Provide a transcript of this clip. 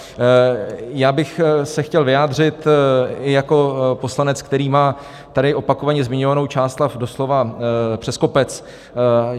Já bych se chtěl vyjádřit jako poslanec, který má tady opakovaně zmiňovanou Čáslav doslova přes kopec.